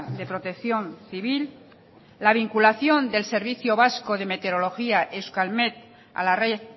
de protección civil la vinculación del servicio vasco de meteorología euskalmet a la red